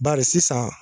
Bari sisan